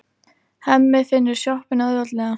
Hemmi finnur sjoppuna auðveldlega.